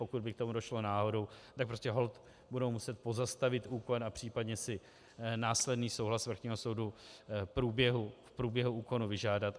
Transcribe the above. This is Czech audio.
Pokud by k tomu došlo náhodou, tak prostě holt budou muset pozastavit úkon a případně si následný souhlas vrchního soudu v průběhu úkonu vyžádat.